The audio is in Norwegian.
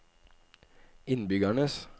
innbyggernes